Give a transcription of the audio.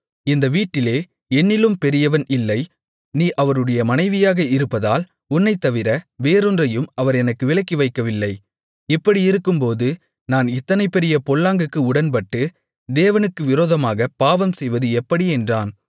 இந்த வீட்டிலே என்னிலும் பெரியவன் இல்லை நீ அவருடைய மனைவியாக இருப்பதால் உன்னைத்தவிர வேறோன்றையும் அவர் எனக்கு விலக்கி வைக்கவில்லை இப்படியிருக்கும்போது நான் இத்தனை பெரிய பொல்லாங்குக்கு உடன்பட்டு தேவனுக்கு விரோதமாகப் பாவம் செய்வது எப்படி என்றான்